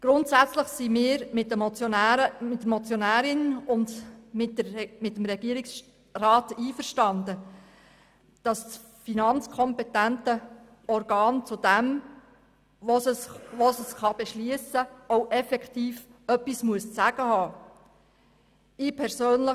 Grundsätzlich sind wir mit der Motionärin und mit dem Regierungsrat einig, dass das finanzkompetente Organ zu dem, was es beschliessen kann, auch etwas zu sagen haben muss.